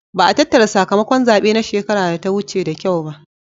Ba'a tattara sakamakon zabe na shekara da ta wuce da kyau ba.